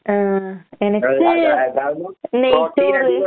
ആഹ്. എനക്ക് നെയ്‌ച്ചോറ്.